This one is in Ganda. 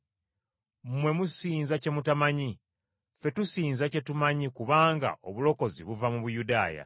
Mmwe musinza kye mutamanyi; ffe tusinza kye tumanyi kubanga obulokozi buva mu Buyudaaya.